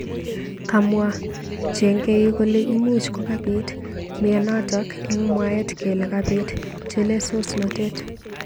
Kamwa chengeik kole imuch kokabit meanatak eng mwaet kele kabit chelesosnotet.